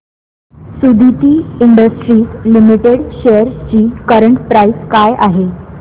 Suditi industries limited shares ची current price काय आहे